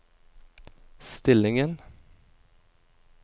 stillingen